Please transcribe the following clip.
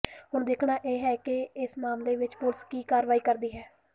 ਹੁਣ ਦੇਖਣਾ ਹੈ ਕਿ ਇਸ ਮਾਮਲੇ ਵਿੱਚ ਪੁਲਿਸ ਕੀ ਕਾਰਵਾਈ ਕਰਦੀ ਹੈ